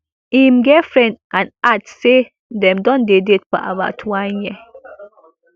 im girlfriend and add say dem don dey date for about one year